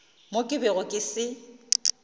mo ke bego ke se